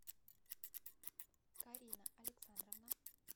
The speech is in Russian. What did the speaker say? карина александровна